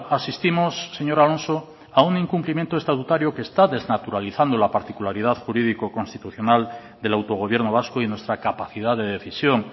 asistimos señor alonso a un incumplimiento estatutario que está desnaturalizando la particularidad jurídico constitucional del autogobierno vasco y nuestra capacidad de decisión